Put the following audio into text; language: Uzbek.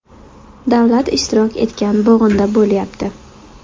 Davlat ishtirok etgan bo‘g‘inda bo‘lyapti.